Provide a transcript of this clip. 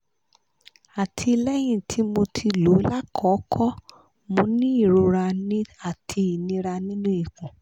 àti lẹ́yìn ti moti lo lákòókò mo ń ní ìrora àti inira nínú ikun